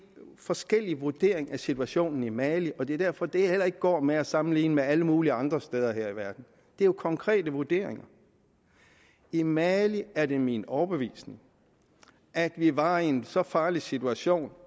forskellig vurdering af situationen i mali og det er derfor det heller ikke går med at sammenligne med alle mulige andre steder her i verden det er jo konkrete vurderinger i mali er det min overbevisning at vi var i en så farlig situation